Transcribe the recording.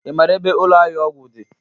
Ị maara ebe ụlọ ahịa ọgwụ dị?